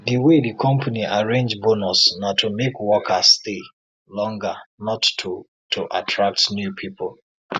the way the company arrange bonus na to make workers stay longer not to to attract new people